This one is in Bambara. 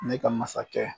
Ne ka masakɛ